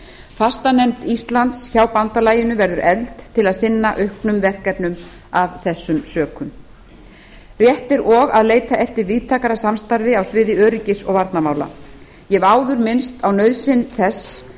fastanefnd íslands hjá bandalaginu verður efld til að sinna auknum verkefnum af þessum sökum rétt er og að leita eftir víðtækara samstarfi á sviði öryggis og varnarmála ég hef áður minnst á nauðsyn þess